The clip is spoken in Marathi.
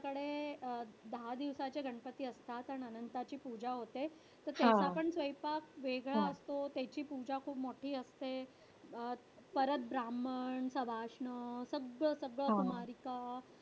कडे अं दहा दिवसाचे गणपती असतात. अन अनंताची पूजा होते. तर त्याचा पण स्वयंपाक वेगळा असतो, त्याची पूजा खूप मोठी असते. अं परत ब्राम्हण सवाष्ण सगळं सगळं